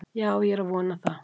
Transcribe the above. Já, ég er að vona það.